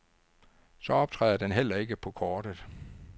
Så optræder den heller ikke på kortet.